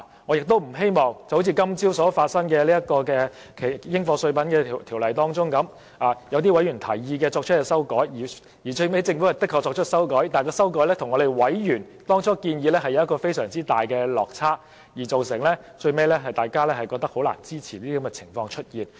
我亦不希望發生好像今早討論的《2017年應課稅品條例草案》般，委員就該法案建議作出修訂，政府亦確實作出修訂，但最後修正案的內容卻與委員最初的建議有極大落差，令大家最終感到難以支持。